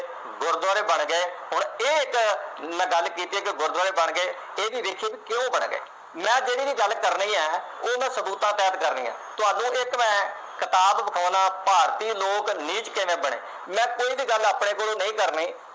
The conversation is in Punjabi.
ਮੈਂ ਗੱਲ ਕੀਤੀ ਹੈ ਕਿ ਗੁਰਦੁਆਰੇ ਬਣ ਗਏ। ਇਹ ਵੀ ਦੇਖੀਏ ਕਿ ਕਿਉਂ ਬਣ ਗਏ। ਮੈਂ ਜਿਹੜੀ ਵੀ ਗੱਲ ਕਰਨੀ ਹੈ, ਉਹ ਮੈਂ ਸਬੂਤਾਂ ਸਹਿਤ ਕਰਨੀ ਹੈ, ਤੁਹਾਨੂੰ ਇਕ ਮੈਂ ਕਿਤਾਬ ਵਿਖਾਉਂਦਾ ਭਾਰਤੀ ਲੋਕ ਨੀਚ ਕਿਵੇਂ ਬਣੇ, ਮੈਂ ਕੋਈ ਵੀ ਗੱਲ ਆਪਣੇ ਕੋਲੋਂ ਨਹੀਂ ਕਰਨੀ